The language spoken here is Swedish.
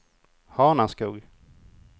Hanaskog